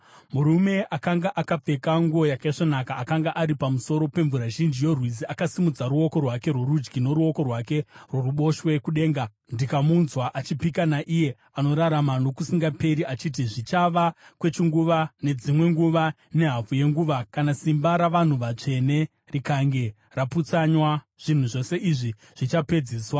Murume akanga akapfeka nguo yakaisvonaka, akanga ari pamusoro pemvura zhinji yorwizi, akasimudza ruoko rwake rworudyi noruoko rwake rworuboshwe kudenga, ndikamunzwa achipika naiye anorarama nokusingaperi, achiti, “Zvichava kwechinguva nedzimwe nguva nehafu yenguva. Kana simba ravanhu vatsvene rikange raputsanywa, zvinhu zvose izvi zvichapedziswa.”